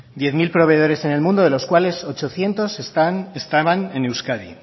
diez mil proveedores en el mundo de los cuales ochocientos están estaban en euskadi